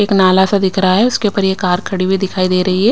एक नाला सा दिख रहा है उसके ऊपर ये कार खड़ी हुई दिखाई दे रही है।